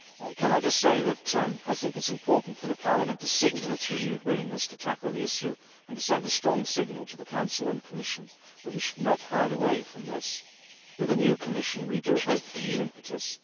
Can I just say that I think it is important for Parliament to signal its renewed willingness to tackle the issue and to send a strong signal to the Council and Commission that we should not hide away from this. With a new Commission we do hope for new impetus.